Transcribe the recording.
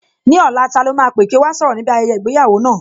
Ní ọ̀la, ta lọ́ máa pè kí ó wá sọ̀rọ̀ níbi ayẹyẹ ìgbéyàwó náà?